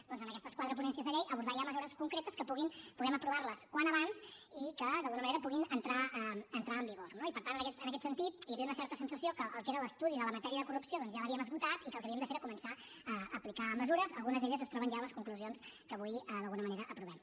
doncs amb aquestes quatre ponències de llei abordar ja mesures concretes que puguem aprovar les com més aviat millor i que d’alguna manera puguin entrar en vigor no i per tant en aquest sentit hi havia una certa sensació que el que era l’estudi de la matèria de corrupció doncs ja l’havíem esgotat i que el que havíem de fer era començar a aplicar mesures algunes d’elles es troben ja a les conclusions que avui d’alguna manera aprovem